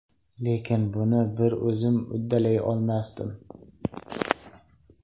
Lekin buni bir o‘zim uddalay olmasdim.